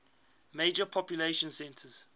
major population centers